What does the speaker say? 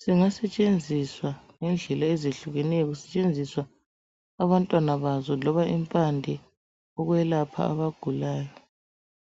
singasetshenziswa ngendlela ezehlukeneyo kusetshenziswa abantwana baso loba impande ukwelapha abagulayo.